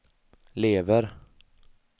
lever